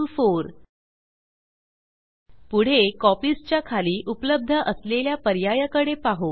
पुढे copies copies च्या खाली उपलब्ध असलेल्या पर्याया कडे पाहु